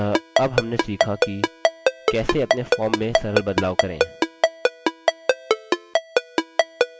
अतः अब हमने सीखा कि कैसे अपने form में सरल बदलाव करें